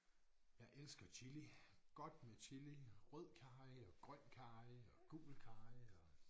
Jeg elsker chili godt med chili rød karry og grøn karry og gul karry og